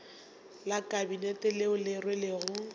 la kabinete leo le rwelego